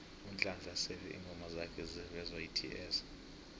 unhlanhla sele ingoma zakha zivezwaets